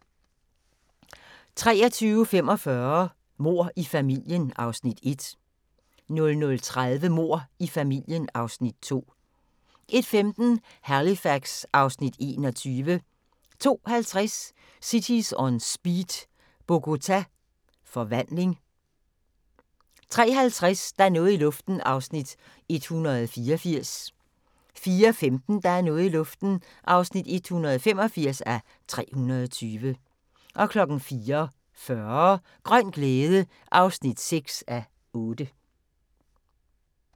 23:45: Mord i familien (Afs. 1) 00:30: Mord i familien (Afs. 2) 01:15: Halifax (Afs. 21) 02:50: Cities On Speed - Bogota forvandling 03:50: Der er noget i luften (184:320) 04:15: Der er noget i luften (185:320) 04:40: Grøn glæde (6:8)